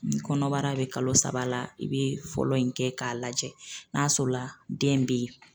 Ni kɔnɔbara bɛ kalo saba la i bɛ fɔlɔ in kɛ k'a lajɛ n'a sɔrɔla den bɛ yen.